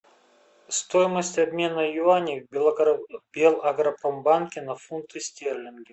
стоимость обмена юаней в белагропромбанке на фунты стерлинги